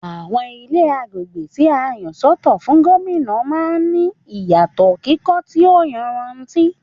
Àwọn Ilé agbègbè tí a yà sọ́tọ̀ fún Gómìnà man ní ìyàtò kíkọ́ tí o yanrantí